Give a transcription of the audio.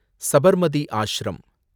Sabarmati ashram